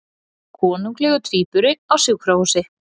Konunglegur tvíburi á sjúkrahúsi